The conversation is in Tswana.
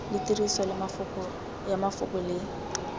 le tiriso ya mafoko le